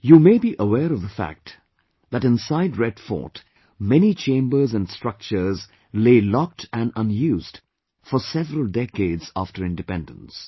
You may be aware of the fact that inside Red Fort, many chambers and structures lay locked & unused for several decades after Independence